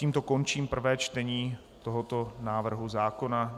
Tímto končím prvé čtení tohoto návrhu zákona.